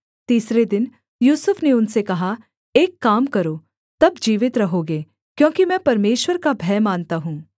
तीसरे दिन यूसुफ ने उनसे कहा एक काम करो तब जीवित रहोगे क्योंकि मैं परमेश्वर का भय मानता हूँ